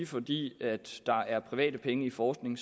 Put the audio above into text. fordi der er private penge i forskning